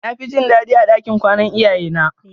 Nafi jin dadi a ɗakin kwana iyaye na.